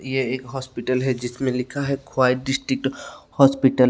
ये एक हॉस्पिटल है जिसमें लिखा है खवाई डिस्ट्रिक्ट हॉस्पिटल ।